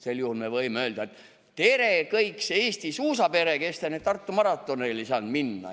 Sel juhul me võime öelda: "Tere, kõik see Eesti suusapere, kes te nüüd Tartu maratonile ei saanud minna!